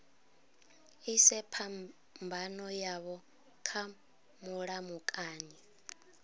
ise phambano yavho kha mulamukanyi